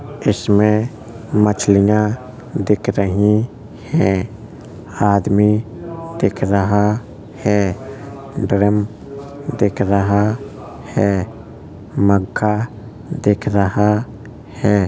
इसमे मच्छलिया दिख रही है आदमी दिख रहा है ड्रम दिख रहा है मग्गा दिख रहा है।